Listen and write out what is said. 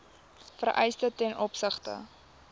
vereistes ten opsigte